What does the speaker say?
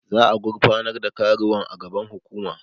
Za'a gurfanar da karuwan a gaban hukuma.